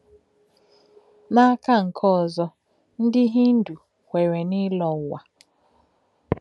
N’áká̄ nkè̄ òzò̄, ndí̄ Hindu kwerè̄ n’ílò̄ ǔwà̄.